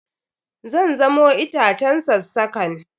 Zan samo itacen sassakan.